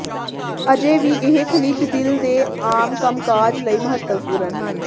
ਅਜੇ ਵੀ ਇਹ ਖਣਿਜ ਦਿਲ ਦੇ ਆਮ ਕੰਮਕਾਜ ਲਈ ਮਹੱਤਵਪੂਰਨ ਹਨ